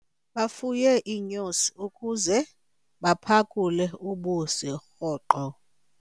Bafuye iinyosi ukuze baphakule ubusi rhoqo.